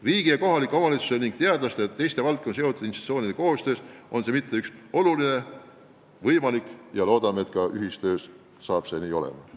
Riigi, kohalike omavalitsuste ning teadlaste ja teiste valdkondadega seotud institutsioonide koostöös suudame ehk probleemid lahendada ja maaelu püsimise tagada.